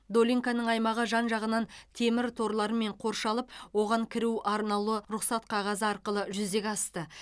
долинканың аймағы жан жағынан темір торлармен қоршалып оған кіру арнаулы рұқсат қағазы арқылы жүзеге асты